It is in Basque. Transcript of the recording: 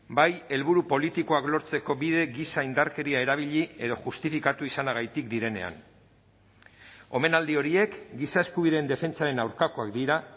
bai helburu politikoak lortzeko bide gisa indarkeria erabili edo justifikatu izanagatik direnean omenaldi horiek giza eskubideen defentsaren aurkakoak dira